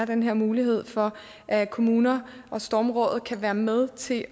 den her mulighed for at kommuner og stormrådet kan være med til at